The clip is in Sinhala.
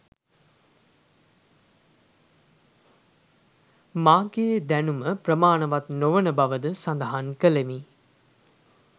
මාගේ දැනුම ප්‍රමාණවත් නොවන බවද සඳහන් ‍කළෙමි